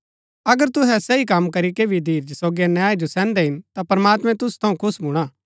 अगर तुहै सही कम करीके भी धीरज सोगी अन्याय जो सैहन्दै हिन ता प्रमात्मैं तुसु थऊँ खुश भूणा